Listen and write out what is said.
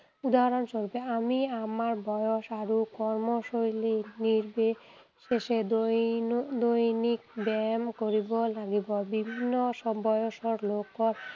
উদাহৰণস্বৰূপে আমি আমাৰ বয়স আৰু কৰ্মশৈলী নিৰ্বিশেষে দৈনিক ব্যায়াম কৰিব লাগিব। বিভিন্ন বয়সৰ লোকক